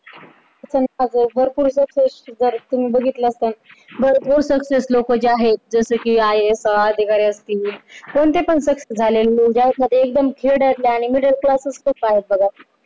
जर तुम्ही बघितला असाल बरं success लोकं जे आहे जस कि IAS अधिकारी असतील कोणते पण झालेले लोक आहे